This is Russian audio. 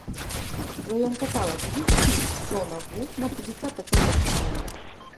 в твоем каталоге есть фильм джона ву на пятьдесят оттенков темнее